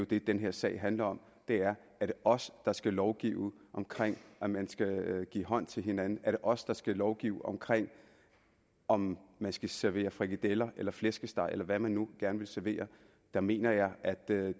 det den her sag handler om er er det os der skal lovgive om om man skal give hånd til hinanden er det os der skal lovgive om om man skal servere frikadeller eller flæskesteg eller hvad man nu gerne vil servere der mener jeg at